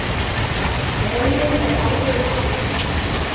Heimir er alvöru maður.